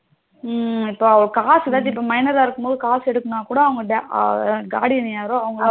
ம் இப்போ காசுத டி இப்போ minor அ இருக்கும்போது காசு எடுக்கணும்னா கூட அவங்க guardian யாரோ அவங்க